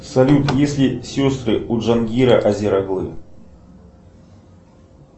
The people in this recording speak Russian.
салют есть ли сестры у джамгила озир оглы